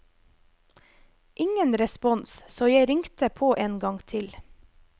Ingen respons, så jeg ringte på en gang til.